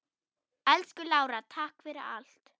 Elsku Lára, takk fyrir allt.